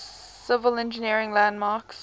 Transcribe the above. civil engineering landmarks